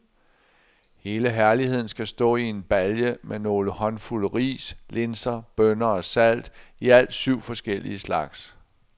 Hele herligheden skal stå i en balje med nogle håndfulde ris, linser, bønner og salt, i alt syv forskellige slags.